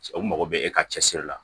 Cɛ o mago bɛ e ka cɛsiri la